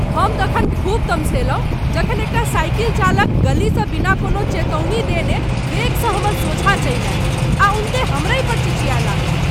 हम तखन खूब तमसयलहुँ जखन एकटा साइकिल चालक गलीसँ बिना कोनो चेतौनी देने वेगसँ हमर सोझाँ चलि आयल आ उनटे हमरहिपर चिचिआय लागल।